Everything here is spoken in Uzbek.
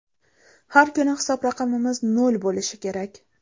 Har kuni hisob raqamimiz nol bo‘lishi kerak.